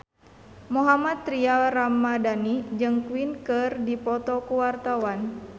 Mohammad Tria Ramadhani jeung Queen keur dipoto ku wartawan